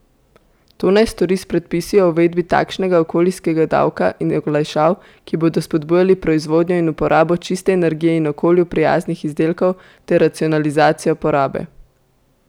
To naj stori s predpisi o uvedbi takšnega okolijskega davka in olajšav, ki bodo spodbujali proizvodnjo in uporabo čiste energije in okolju prijaznih izdelkov ter racionalizacijo porabe.